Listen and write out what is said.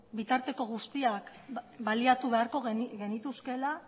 bitarteko guztiak baliatu beharko genituzkeela